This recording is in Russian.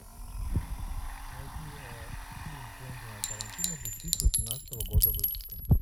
найди фильм квентина тарантино две тысячи восемнадцатого года выпуска